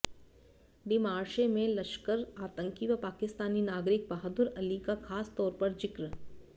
demarche में लश्कर आतंकी व पाकिस्तानी नागरिक बहादुर अली का खास तौर पर जिक